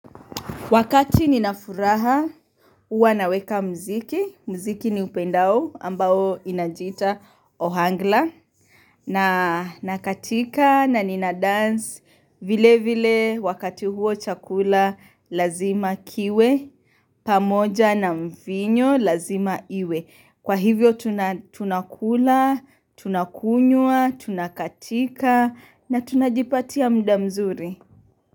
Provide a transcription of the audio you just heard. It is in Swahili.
Wakati ninafuraha huwa naweka mziki. Mziki ni upendao ambao inajita ohangla na nakatika na nina dance vile vile wakati huo chakula lazima kiwe pamoja na mvinyo lazima iwe. Kwa hivyo tunakula, tunakunywa, tunakatika na tunajipatia mda mzuri.